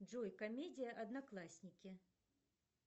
джой комедия одноклассники